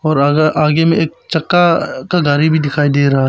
और अगर आगे मे एक चक्का का गाड़ी भी दिखाई दे रहा--